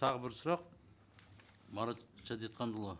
тағы бір сұрақ марат шәдетханұлы